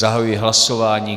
Zahajuji hlasování.